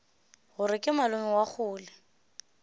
gore ke malome wa kgole